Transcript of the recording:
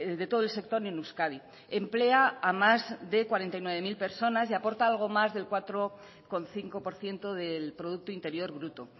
de todo el sector en euskadi emplea a más de cuarenta y nueve mil personas y aporta algo más del cuatro coma cinco por ciento del producto interior bruto